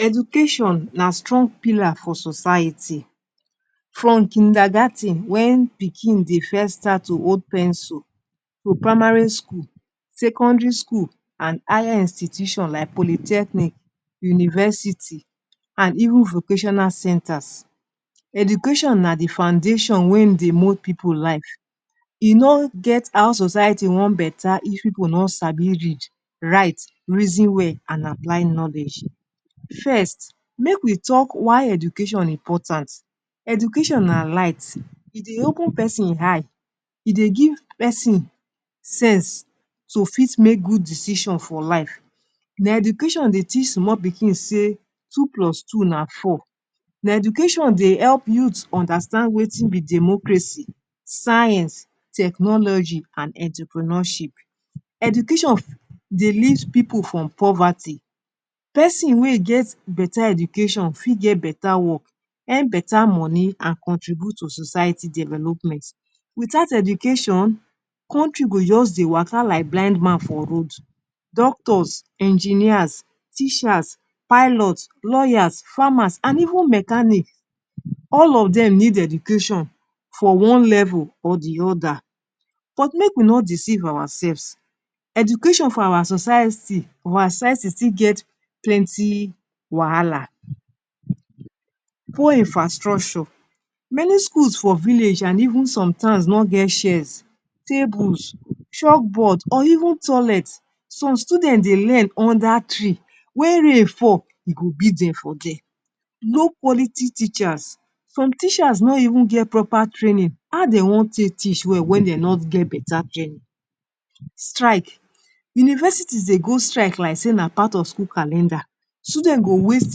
Education na strong pillar for society. From kindergar ten, wen begin, dey first start to hold pencil, to primary school, secondary school and higher institution like polytechnic, university, and even vocational centers. Education na di foundation wen dey move pipu life. E no get how society wan betta if pipu no sabi read, write, reason well and apply knowledge. First, make we talk why Education Important. Education na lights. E dey open person eye, e dey give pesin sense to fit, make good decision for life na education dey teach small pikin say two plus two na four. Na education dey help youth to understand wetin be democracy, science, technology and entrepreneurship. Education de lift pipu from poverty. pesin wey get betta education fit get betta wok earn betta money and contribute to society development. Wit out education kontri go just de waka like blind man for road. Doctors, engineers, teachers, pilots, lawyers, farmers and even mechanics. All of dem need education for one level or di oda. But make we not deceive our sefs. Education for our society, our society still get plenty wahala. Poor infrastructure. Many schools for village and even sometimes not get chairs, tables, chalkboard or even toilets. Some students dey learn under tree wen rain fall e go beat dem for there. Low quality teachers. Some teachers not even get proper training and how dem wan teach well wen dey no get betta training. Strike. Universities dey go strike like say na part of school calendar student go waste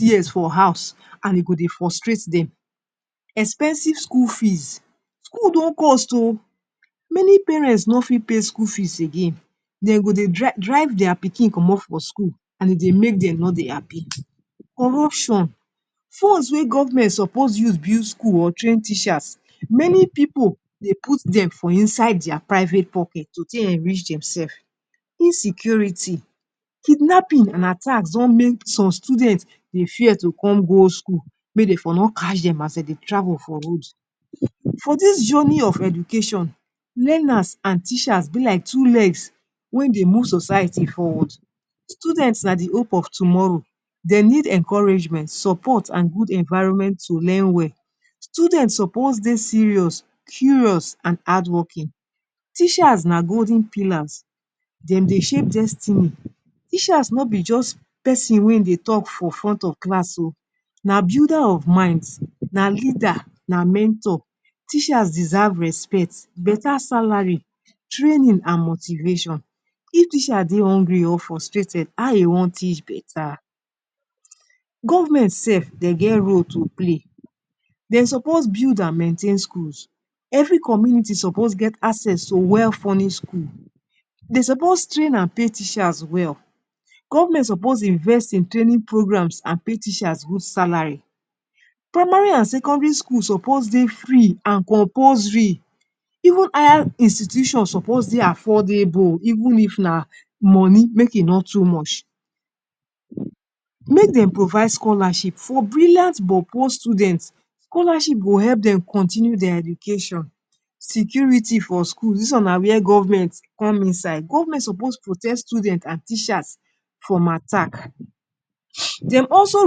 years for house and e go dey frustrate dem. Expensive school fees. School don cost ooh, many parents no fit pay school fees again. Dem go dey would dey drive their pikin come from school and e make dem know de happy. Corruption. funds wey govment suppose use build school or train teachers. Many pipu dey put dem for inside their private pocket to take enrich demselves. Insecurity, kidnapping and attacks don make some students dey fear to come go school mey de for no catch dem as dey de travel for roads. For this journey of education, learners and teachers be like two legs wen dey move society forward. Students na di hope of tomorrow. Dey need encouragement, support and good environment to learn well. Students suppose dey serious, curious and hardwoking. Teachers na golden pillars. dem dey shape destiny. Teachers no be just pesin wen dey talk for front of class o. So na builder of minds na leader na mentor. Teachers deserve respect, better salary training, and motivation. If teacher dey hungry or frustrated how e wan teach betta Govment sef dem get role to play. Dem supposed to build and maintain schools. Every community is supposed to get access to well funish school. Dem suppose train and pay teachers well, Govment supposed invest in training programs and pay teachers good salary. Primary and secondary school suppose dey free and compulsory even higher institutions suppose de affordable even if na money make e no too much. Make dem provide scholarship for brilliant but poor students. Scholarship go help dem continue dia education. Security for schools. Dis one wia govment come inside. Govment supposed protect student and teachers from attack. Dem also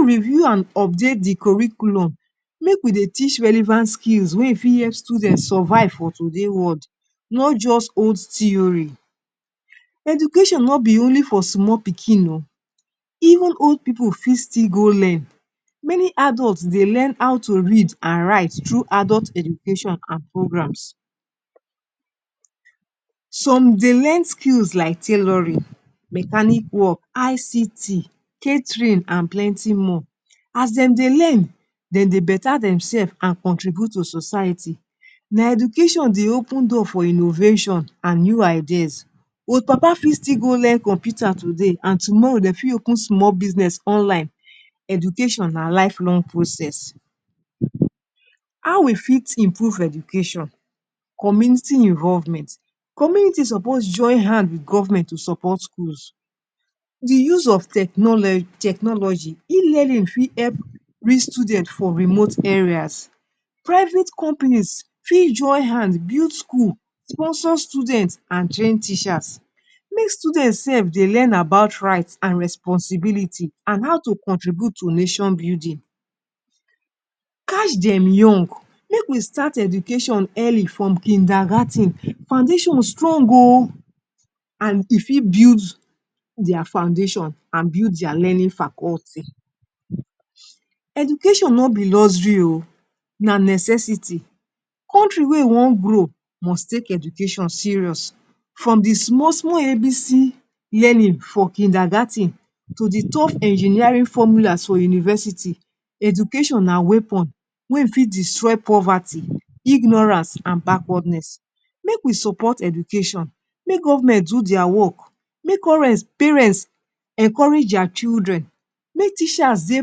review and update di curriculum. Make we dey teach relevant skills wey fit help students survive for today world, not just old theory. Education nobi only for small pikin o. Even old pipu fit still go learn many adults dey learn how to read and write through adult education and programs. Some dey learn skills like tailoring, mechanic wok, ICT, catering and plenty more. As dem dey learn, dem dey betta dem selves and contribute to society. Na education dey open door for innovation and new ideas. old papa fit go learn computer today and tomorrow dem fit open small business online education na lifelong process. How we fit improve education. Community involvement. Community supposed to join hands with govment to support schools. Di use of technology. e-learning fit help reach students for remote areas. Private companies fit join hands, build school, sponsor students and train teachers. Make students sef dey learn about rights and responsibility and how to contribute to nation building. Catch dem young. Make we start education early from kindergar ten. Foundation strong o and e fit build dia foundation and build dia learning faculty. Education not be luxury oh, na necessity. Kontri wey wan grow must take education serious from di small, small ABC yelling for kindergar ten to di top engineering formulas for university. Education na weapon wen fit destroy poverty, ignorance and backwardness. Make we support education. Make govment do dia wok. Make all parents encourage dia children. Make teachers dey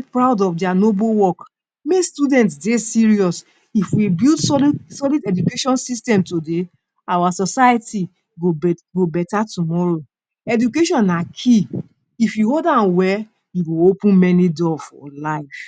proud of dia noble wok. Mey students dey serious. If we build solid, solid education system today, our society go betta tomorrow. Education na key. If you hold am well e go open many doors for life.